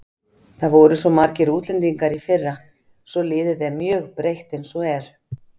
Það voru svo margir útlendingar í fyrra svo liðið er mjög breytt eins og er.